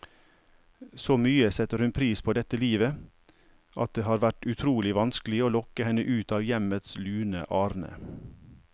Så mye setter hun pris på dette livet, at det har vært utrolig vanskelig å lokke henne ut av hjemmets lune arne.